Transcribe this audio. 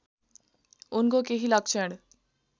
उनको केही लक्षण